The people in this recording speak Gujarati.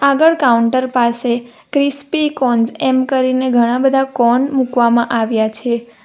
આગળ કાઉન્ટર પાસે ક્રિસ્પી કોન્સ એમ કરીને ઘણાં બધા કોન મૂકવામાં આવ્યા છે.